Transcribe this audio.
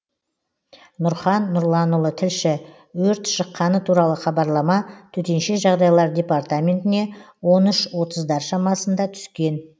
нұрхан нұрланұлы тілші өрт шыққаны туралы хабарлама төтенше жағдайлар департаментіне он үш отыздар шамасында түскен